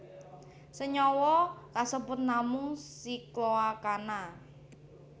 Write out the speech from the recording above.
Senyawa kasebut namung sikloalkana